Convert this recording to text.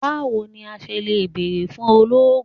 Bawo ni a ṣe le beere fun ologun?